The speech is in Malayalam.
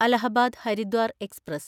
അലഹബാദ് ഹരിദ്വാർ എക്സ്പ്രസ്